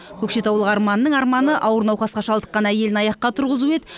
көкшетаулық арманның арманы ауыр науқасқа шалдыққан әйелін аяққа тұрғызу еді